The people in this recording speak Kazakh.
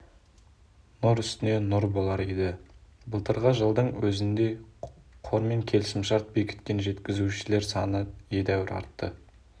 нұр үстіне нұр болар еді былтырғы жылдың өзінде қормен келісімшарт бекіткен жеткізушілер саны едәуір артты